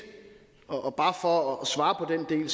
og bare for at svare på den